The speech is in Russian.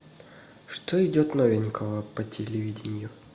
что идет новенького по телевидению